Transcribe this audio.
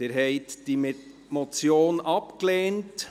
Sie haben diese Motion abgelehnt.